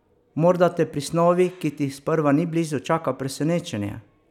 Morda te pri snovi, ki ti sprva ni blizu, čaka presenečenje?